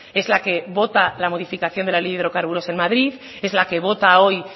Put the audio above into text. es la que vota la modificación de la ley de hidrocarburos en madrid es la que vota hoy